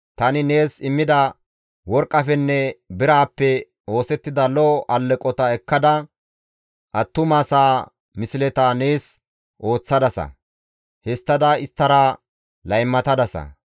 Tani nees immida worqqafenne biraappe oosettida lo7o alleqota ekkada attumasaa misleta nees ooththadasa; histtada isttara laymatadasa.